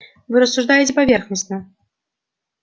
вы рассуждаете поверхностно